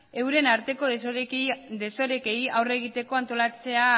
euren arteko desorekei aurre egiteko antolatzea